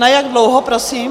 Na jak dlouho prosím?